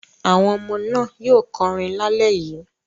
Àwọn ọmọ náà yóò kọrin lálẹ́ yìí.